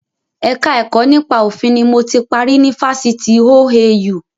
Ẹ̀ka ẹ̀kọ́ nípa òfin ni mo ti parí ni Fásitì OAU